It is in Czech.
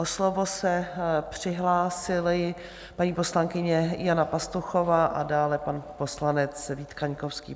O slovo se přihlásila paní poslankyně Jana Pastuchová a dále pan poslanec Vít Kaňkovský.